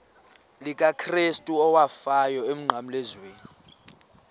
likakrestu owafayo emnqamlezweni